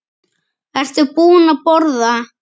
Ertu búin að borða?